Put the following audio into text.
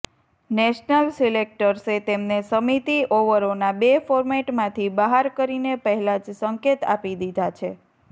national સિલેક્ટર્સે તેમને સીમિત ઓવરોના બે ફોર્મેટમાંથી બહાર કરીને પહેલાં જ સંકેત આપી દીધાં છે